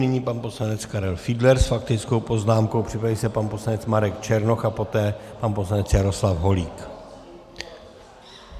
Nyní pan poslanec Karel Fiedler s faktickou poznámkou, připraví se pan poslanec Marek Černoch a poté pan poslanec Jaroslav Holík.